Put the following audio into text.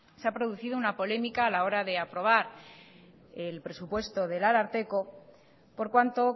se ha producido una polémica a la hora de aprobar el presupuesto del ararteko por cuanto